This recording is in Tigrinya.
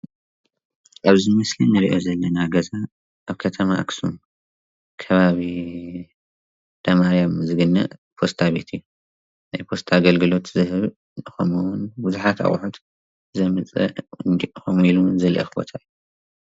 ኣብዚ ምስሊ እንሪኦ ዘለና ገዛ ኣብ ከተማ ኣክሱም ከባቢ እንዳ ማርያም ዝርከብ ፖስታ ቤት እዩ። ናይ ፖስታ ኣገልግሎት ዝህብ እንትከውን ብዙሓት ኣቅሑት ዘምፅእ ከምኡውን ዘልእክ ቦታ እዩ፡፡